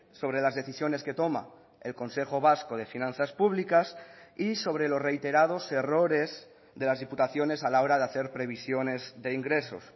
sobre las decisiones que toma el consejo vasco de finanzas públicas y sobre los reiterados errores de las diputaciones a la hora de hacer previsiones de ingresos